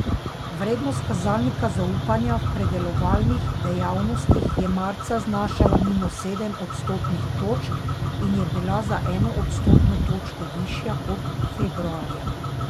Vrednost kazalnika zaupanja v predelovalnih dejavnostih je marca znašala minus sedem odstotnih točk in je bila za eno odstotno točko višja kot februarja.